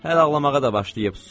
Hələ ağlamağa da başlayıb.